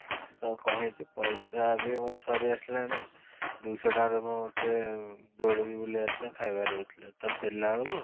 ତ କ'ଣ ହେଇଛି ପଇସା ବି ମୋର ସରି ଆସିଲାଣି ଦୁଇ ଶହ ଟଙ୍କାରେ ମୁଁ ମୋତେ ଦୋଳି ବି ବୁଲିବାର ଥିଲା ଖାଇବାର ବି ଥିଲା ତ ଫେରିଲା ବେଳକୁ